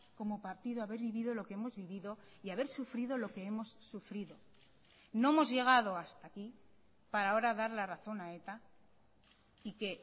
como partido haber vivido lo que hemos vivido y haber sufrido lo que hemos sufrido no hemos llegado hasta aquí para ahora dar la razón a eta y que